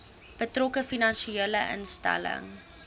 betrokke finansiële instelling